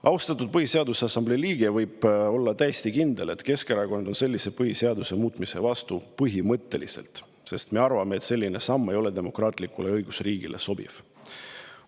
" Austatud Põhiseaduse Assamblee liige võib olla täiesti kindel, et Keskerakond on põhiseaduse sellise muutmise vastu põhimõtteliselt, sest me arvame, et selline samm ei ole demokraatlikule õigusriigile sobiv.